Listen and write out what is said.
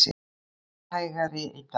Heldur hægari í dag